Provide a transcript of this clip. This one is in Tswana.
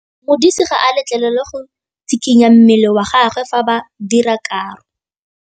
Modise ga a letlelelwa go tshikinya mmele wa gagwe fa ba dira karô.